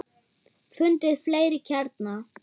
Fundið fleiri kjarna.